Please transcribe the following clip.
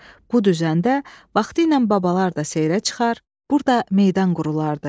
Bu düzəndə vaxtilə babalar da seyrə çıxar, burada meydan qurulardı.